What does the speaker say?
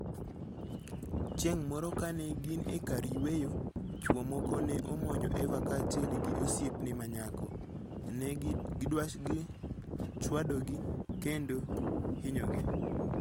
Chieng' moro kane gin e kar yueyo, chwo moko ne omonjo Eva kaachiel gi osiepne ma nyako, ne gichwadogi kendo hinyogi.